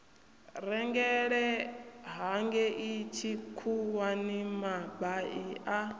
rengele hangei tshikhuwani mabai a